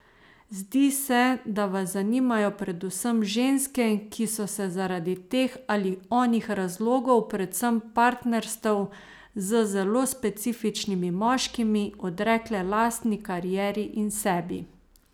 Zdi se, da vas zanimajo predvsem ženske, ki so se zaradi teh ali onih razlogov, predvsem partnerstev z zelo specifičnimi moškimi, odrekle lastni karieri in sebi.